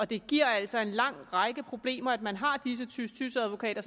det giver altså en lang række problemer at man har disse tys tys advokater